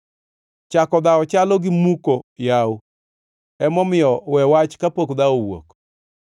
Chako dhawo chalo gimuko yawo, emomiyo we wach kapok dhawo owuok.